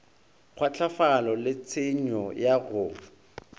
kgwahlafalo le tshenyo ya go